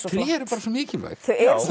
tré eru bara svo mikilvæg